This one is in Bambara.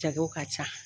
Jago ka ca